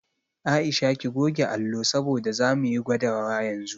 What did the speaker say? Aisha ki goge allo saboda zamu yi gwadawa yanzu